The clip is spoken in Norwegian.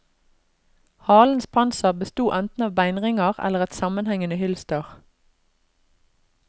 Halens panser besto eneten av beinringer eller et sammenhengende hylster.